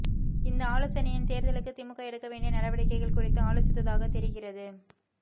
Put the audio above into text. இந்த ஆலோசனையில் தேர்தலுக்கு திமுக எடுக்கவேண்டிய நடவடிக்கைகள் குறித்து ஆலோசித்ததாக தெரிகிறது